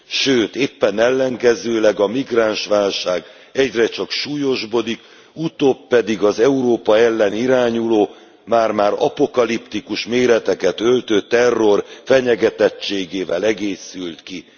Sőt éppen ellenkezőleg, a migránsválság egyre csak súlyosbodik, utóbb pedig az Európa ellen irányuló, már már apokaliptikus méreteket öltő terror fenyegetettségével egészült ki.